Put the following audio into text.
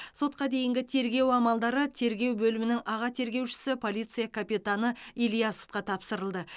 сотқа дейінгі тергеу амалдары тергеу бөлімінің аға тергеушісі полиция капитаны ильясовқа тапсырылды